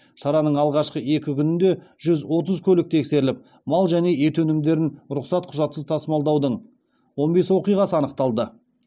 шараның алғашқы екі күнінде жүз отыз көлік тексеріліп мал және ет өнімдерін рұқсат құжатсыз тасымалдаудың он бес оқиғасы анықталды